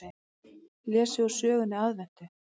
Lesið úr sögunni Aðventu.